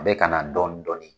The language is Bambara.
A bɛ ka na dɔɔnin dɔɔnin.